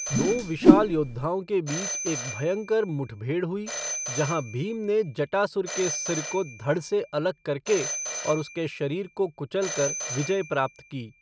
दो विशाल योद्धाओं के बीच एक भयंकर मुठभेड़ हुई, जहां भीम ने जटासुर के सिर को धड़ से अलग करके और उसके शरीर को कुचलकर विजय प्राप्त की।